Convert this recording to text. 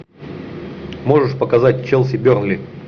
можешь показать челси бернли